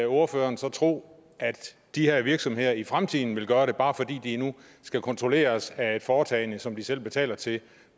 ordføreren så tro at de her virksomheder i fremtiden vil gøre det bedre bare fordi de nu skal kontrolleres af et foretagende som de selv betaler til